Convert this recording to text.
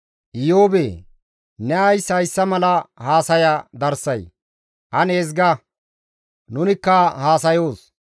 Iyoobee! Ne ays hayssa mala haasaya darsay? Ane ezga; nunikka haasayoos.